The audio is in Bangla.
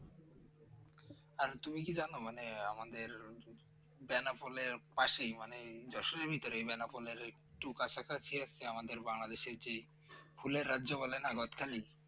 আর তুমি কি জানো মানে আমাদের বানাপোল এর পাশেই মানে যশোর এর ভেতরেই বানাপোল এর একটু কাছাকাছি একটা আমাদের বাংলাদেশ এর যেই ফুলের রাজ্যে বলে না গাদখালী